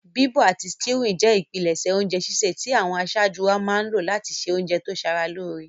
Bíbọ̀ àti stewing je ìpinlẹ̀sẹ̀ ounje sísẹ̀ ti àwon asájú wáa má n lo láti se ounje to sara lóre